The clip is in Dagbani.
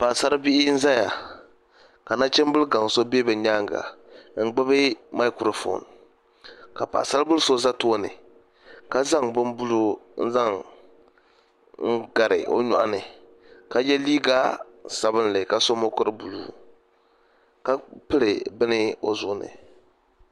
Paɣasaribihi n ʒɛya ka nachimbili gaŋ so ʒɛ bi nyaanga n gbubi maikiro foon ka paɣasaribili so ʒɛ tooni ka zaŋ bin buluu n zaŋ gari o nyoɣani ka yɛ liiga sabinli ka so mokuru buluu ka piri bini o zuɣu ni